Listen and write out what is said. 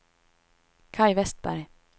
Kaj Vestberg